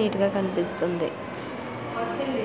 Neat గా కనిపిస్తుంది.